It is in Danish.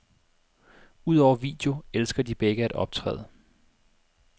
Udover video elsker de begge at optræde.